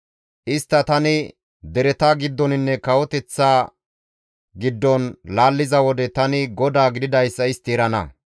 «Istta tani dereta giddoninne kawoteththa giddon laalliza wode tani GODAA gididayssa istti erana.